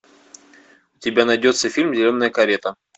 у тебя найдется фильм зеленая карета